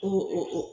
O